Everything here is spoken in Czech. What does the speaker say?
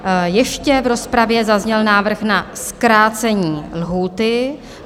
Ještě v rozpravě zazněl návrh na zkrácení lhůty.